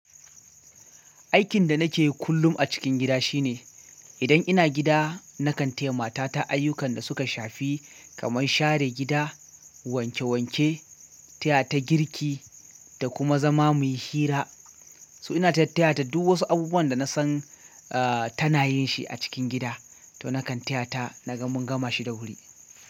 Aikin da nake yi kullum a cikin gida shine, idan ina gida nakan taya mata ta ayyukan da suka shafi kamar share gida, wanke wanke, taya ta girki da kuma zama muyi hira. To ina tattaya ta duk wasu abubuwan da nasan aah tana yin shi a cikin gida. To nakan taya ta na ga mun gama shi da wuri.